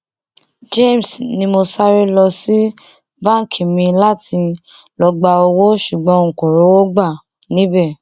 james ni mo sáré lọ sí báńkì mi láti lọọ gba owó ṣùgbọn n kò rówó gbà níbẹ